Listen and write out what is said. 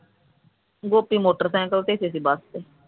Gopi motorcycle ਤੇ ਸੀ ਅਸੀਂ ਬਸ ਤੇ